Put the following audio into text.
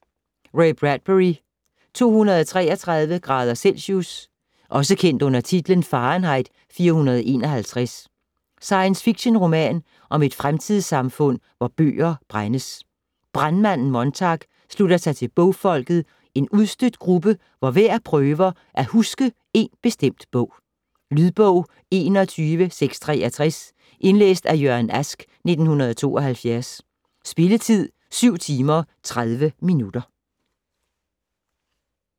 Bradbury, Ray: 233° celsius Også kendt under titlen Fahrenheit 451. Science fiction-roman om et fremtidssamfund, hvor bøger brændes. "Brandmanden" Montag slutter sig til bogfolket, en udstødt gruppe, hvor hver prøver at huske en bestemt bog. Lydbog 21663 Indlæst af Jørgen Ask, 1972. Spilletid: 7 timer, 30 minutter.